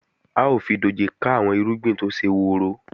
A ó fi dòjé ká àwọn irúgbìn tó ṣe woro